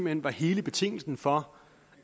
hen var hele betingelsen for